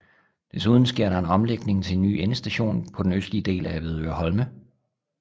Desuden sker der en omlægning til en ny endestation på den østlige del af Avedøre Holme